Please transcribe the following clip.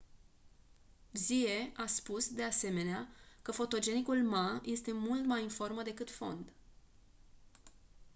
hsieh a spus de asemenea că fotogenicul ma este mai mult formă decât fond